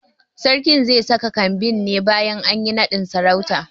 Sarkin ze saka kambin ne bayan anyi naɗin sarautan